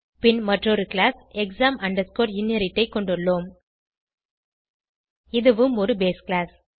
பின் மற்றொரு class exam inherit ஐ கொண்டுள்ளோம் இதுவும் ஒரு பேஸ் கிளாஸ்